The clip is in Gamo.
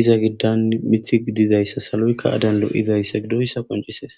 iza gidan mithi gidizayssa saloykka adanlo izayssa gidoyssa qoncisees